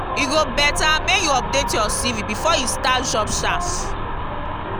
e go better make you update your cv before you start job search.